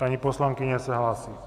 Paní poslankyně se hlásí.